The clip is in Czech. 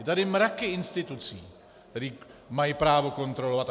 Jsou tady mraky institucí, které mají právo kontrolovat.